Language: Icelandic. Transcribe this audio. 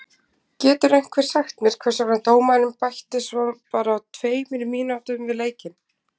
Getur einhver sagt mér hvers vegna dómarinn bætti svo bara tveimur mínútum við leikinn?